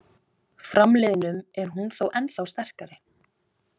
Framliðnum er hún þó ennþá sterkari.